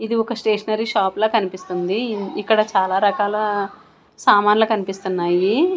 ఇది ఒక stationery shop లా కన్పిస్తుంది ఇక్కడ చాలా రకాల సామాన్ల కన్పిస్తున్నాయి.